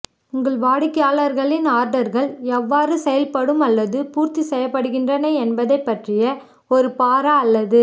உங்கள் வாடிக்கையாளர்களின் ஆர்டர்கள் எவ்வாறு செயல்படுத்தப்படும் அல்லது பூர்த்தி செய்யப்படுகின்றன என்பதைப் பற்றிய ஒரு பாரா அல்லது